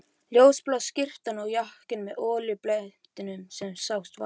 Ljósblá skyrtan og jakkinn með olíublettinum sem sást varla.